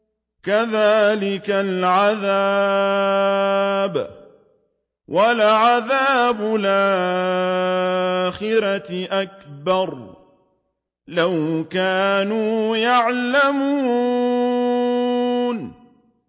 كَذَٰلِكَ الْعَذَابُ ۖ وَلَعَذَابُ الْآخِرَةِ أَكْبَرُ ۚ لَوْ كَانُوا يَعْلَمُونَ